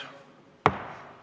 Istungi lõpp kell 15.14.